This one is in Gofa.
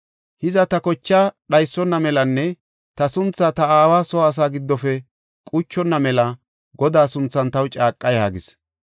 Hiza ta kochaa dhaysona melanne ta sunthaa ta aawa soo asaa giddofe quchonna mela Godaa sunthan taw caaqa” yaagis.